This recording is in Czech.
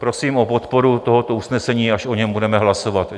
Prosím o podporu tohoto usnesení, až o něm budeme hlasovat.